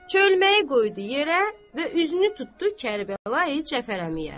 Çölməyi qoydu yerə və üzünü tutdu Kərbəlayı Cəfərəliyə.